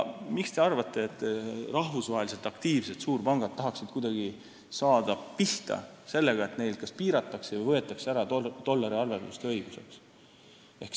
Miks te arvate, et rahvusvaheliselt aktiivsed suurpangad tahaksid kuidagi saada pihta sellega, et neid kas piiratakse või võetakse ära dollariarvelduse õigus?